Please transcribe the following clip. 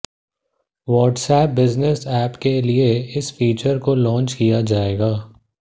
WhatsApp business app के लिए इस फीचर को लॉन्च किया जाएगा